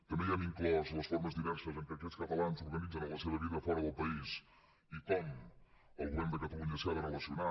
també hi hem inclòs les formes diverses en què aquests catalans organitzen la seva vida fora del país i com el govern de catalunya s’hi ha de relacionar